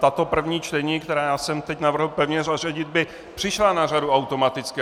Tato první čtení, která já jsem teď navrhl pevně zařadit, by přišla na řadu automaticky.